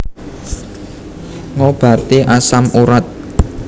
Ngobati asam urat